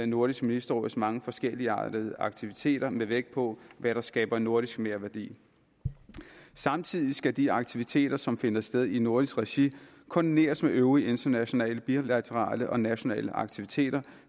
nordisk ministerråds mange forskelligartede aktiviteter med vægt på hvad der skaber nordisk merværdi samtidig skal de aktiviteter som finder sted i nordisk regi koordineres med øvrige internationale bilaterale og nationale aktiviteter